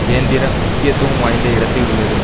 கேந்திர முக்கியத்துவம் வாய்ந்த இடத்தில் உள்ளது